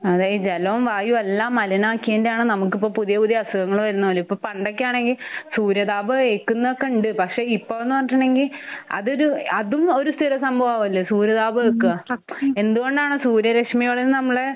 അതെ ഈ ജലോം വായും എല്ലാം മലീനാക്കീന്റെ ആണ് നമുക്കിപ്പോ പുതിയ പുതിയ അസുഖങ്ങള് വരുന്ന പോലും. ഇപ്പൊ പണ്ടൊക്കെയാണെങ്കി സൂര്യ താപം ഏൽക്കുന്നൊക്കെ ഉണ്ട്. പക്ഷെ ഇപ്പോന്ന് പറഞ്ഞിട്ടുണ്ടെങ്കി അതൊരു അതും ഒരു സ്ഥിര സംഭവല്ലേ? സൂര്യ താപം ഏൽക്കാ. എന്ത്കൊണ്ടാണ് സൂര്യ രശ്മിയോള് നമ്മളെ